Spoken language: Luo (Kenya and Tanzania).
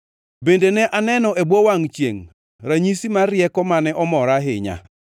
Bende ne aneno e bwo wangʼ chiengʼ ranyisi mar rieko mane omora ahinya: